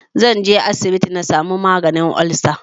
Zanje asibiti na samu maganin olsa